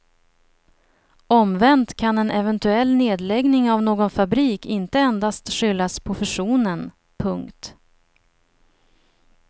Omvänt kan en eventuell nedläggning av någon fabrik inte endast skyllas på fusionen. punkt